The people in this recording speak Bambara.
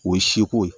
O ye seko ye